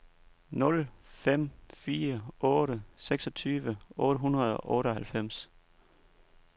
nul fem fire otte seksogtyve otte hundrede og otteoghalvfems